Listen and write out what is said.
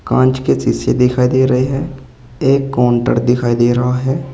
कांच की सीसी दिखाई दे रही है एक काउंटर दिखाई दे रहा है।